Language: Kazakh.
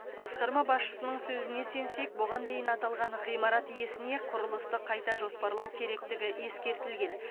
басқарма басшысының сөзіне сенсек бұған дейін аталған ғимарат иесіне құрылысты қайта жоспарлау керектігі ескертілген